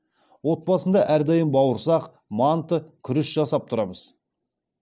отбасында әрдайым бауырсақ манты күріш жасап тұрамыз